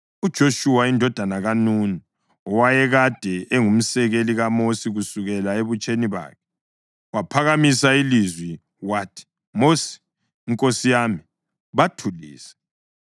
UJoshuwa indodana kaNuni, owayekade engumsekeli kaMosi kusukela ebutsheni bakhe, waphakamisa ilizwi wathi, “Mosi, nkosi yami, bathulise!”